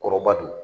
Kɔrɔba don